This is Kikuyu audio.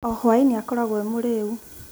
O hwaĩ-inĩ akoragwo arĩ mũrĩĩu.